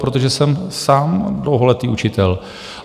Protože jsem sám dlouholetý učitel.